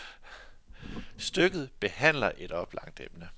Stykket behandler et oplagt emne.